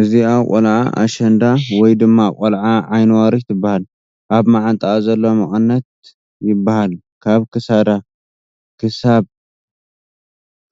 እዚኣ ቖልዓ ኣሸንዳ ወይ ድማ ቖልዓ ዓይኒ ዋሪ ትበሃል፡ ኣብ መዓንጠኣ ዘሎ መቐነት ይበሃል ካብ ክሳዳ ክሳብ